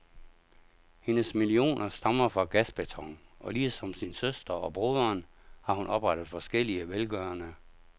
Hendes millioner stammer fra gasbeton, og ligesom sin søster og broderen har hun oprettet forskellige velgørende